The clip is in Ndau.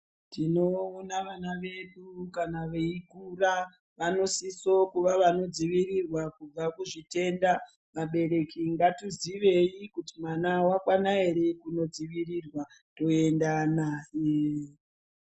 Tinoona vana vedu kana veikura vanosiso kuva vanodzivirirwa kubva kuzvitenda. Vabereki ngatizivei kuti mwana wakwana here kunodzivirirwa, toenda naye.